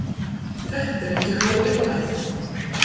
Þetta er ekki há upphæð.